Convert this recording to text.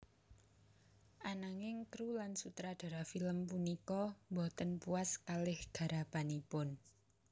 Ananging kru lan sutradara film punika boten puas kalian garapanipun